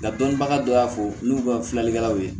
Ka dɔnbaga dɔ y'a fɔ n'u ka filalikɛlaw ye